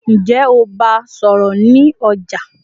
ǹjẹ́ o bá a sọ̀rọ̀ ní ọjà?